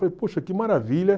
Falei, poxa, que maravilha.